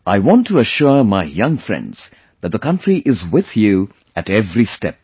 I want to assure my young friends that the country is with you at every step